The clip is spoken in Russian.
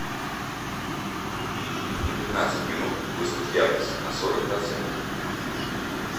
на пятнадцать минут выставь яркость на сорок процентов